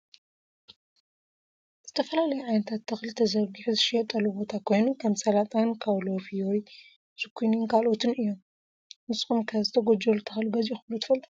ዝተፈላለዩ ዓይነታት ተክሊ ተዘሪጊሑ ዝሽየጠሉ ቦታ ኮይኑ ከም ሳላጣን ካውሎ ፊዮሪ፣ ዙኪንን ካልኦትን እዮም። ንስኩም ከ ዝተጎጀሉ ተክሊ ገዚኢኩም ዶ ትፈልጡ ?